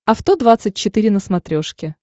авто двадцать четыре на смотрешке